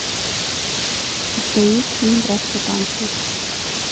у тебя есть фильм братство танца